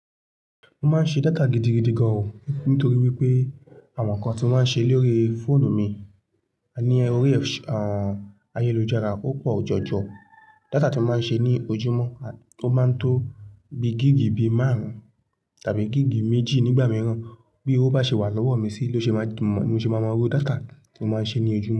Mo máa ń ṣe data gidigidi gan o nítorí wípé àwon nkan ti mo máa ń ṣe lórí fóònù mi, ní orí ayélujára ó pò jọjọ. Data tí mo máa ń ṣe ní ojúmọ́, o máa ń tó bi gígi bí márùn-ún tàbí gígi méjì nígbà mìíràn. Bí ówo bá ṣe wà lọ́wọ́ mi sí ni ó ṣe máa mọ, ni ó ṣe máa mọ rú data tí mo máa ń ṣe ní ojúmọ́